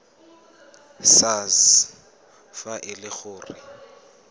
sars fa e le gore